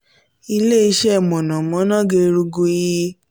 ile-iṣẹ iná mọ̀nàmọ́ná gerugu ii